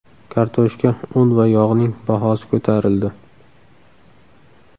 Kartoshka, un va yog‘ning bahosi ko‘tarildi .